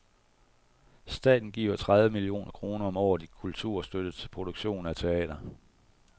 Staten giver tredive millioner kroner om året i kulturstøtte til produktion af teater.